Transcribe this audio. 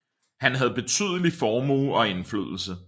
Han havde betydelig formue og indflydelse